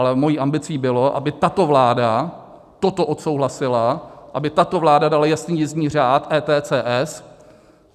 Ale mou ambicí bylo, aby tato vláda toto odsouhlasila, aby tato vláda dala jasný jízdní řád ETCS.